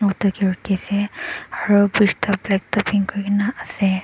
Mota kae rukhiase aro bridge toh blacktopping kurikae naase.